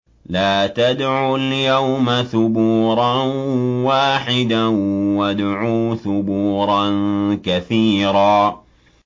لَّا تَدْعُوا الْيَوْمَ ثُبُورًا وَاحِدًا وَادْعُوا ثُبُورًا كَثِيرًا